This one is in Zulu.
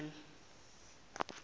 dishani